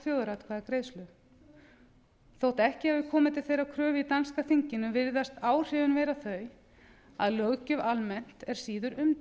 þjóðaratkvæðagreiðslu þótt ekki hafi komið til þeirrar kröfu í danska þinginu virðast áhrifin vera þau að löggjöf almennt er síður